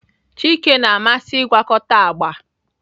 Chike na-amasị ịgwakọta agba